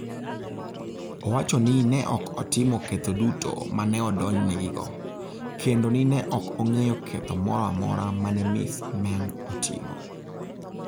Owacho ni ne ok otimo ketho duto "ma ne odonjnegigo" kendo ni ne "ok ong'eyo ketho moro amora ma ne Ms. Meng otimo".